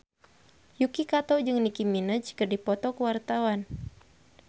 Yuki Kato jeung Nicky Minaj keur dipoto ku wartawan